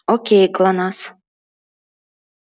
окей глонассс